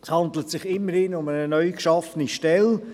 Es handelt sich immerhin um eine neu geschaffene Stelle.